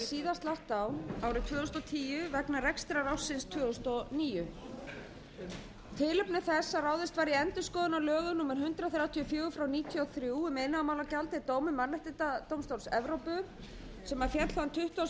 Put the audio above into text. síðast lagt á árið tvö þúsund og tíu vegna rekstrarársins tvö þúsund og níu tilefni þess að ráðist var í endurskoðun á lögum hundrað þrjátíu og fjögur nítján hundruð níutíu og þrjú um iðnaðarmálagjald er dómur mannréttindadómstóls evrópu sem féll þann tuttugasta og sjöunda